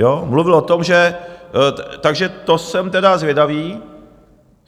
Jo, mluvil o tom, že, takže to jsem tedy zvědavý.